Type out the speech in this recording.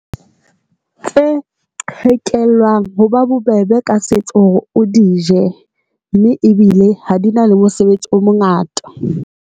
Tse qhekellwang ho ba bobebe ka setso hore o dije mme ebile ha di na le mosebetsi o mongata.